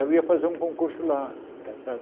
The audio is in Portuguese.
Eu ia fazer um concurso lá, está certo?